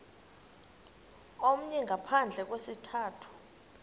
omnye ngaphandle kwesizathu